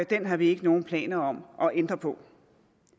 den har vi ikke nogen planer om at ændre på